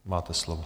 Máte slovo.